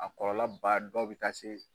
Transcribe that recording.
A kɔlɔlɔ ba dɔw bɛ taa se